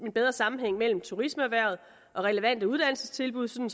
en bedre sammenhæng mellem turismeerhvervet og relevante uddannelsestilbud så vi